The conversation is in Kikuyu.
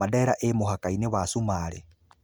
Mandera ĩĩ mũhaka-inĩ wa Cumarĩ .